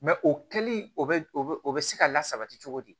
o kɛli o bɛ o bɛ se ka lasabati cogo di